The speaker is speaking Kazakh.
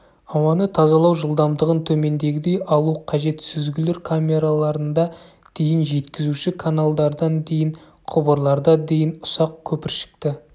ауаны тазалау жылдамдығын төмендегідей алу қажет сүзгілер камераларында дейін жеткізуші каналдардан дейін құбырларда дейін ұсақ көпіршікті